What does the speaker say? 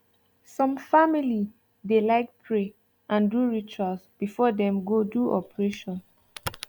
some family dey like pray and do rituals before them go do operation